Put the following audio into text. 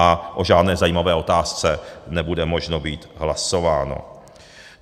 A o žádné zajímavé otázce nebude možno být hlasováno.